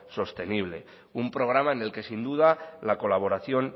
sostenible un programa en el que sin duda la colaboración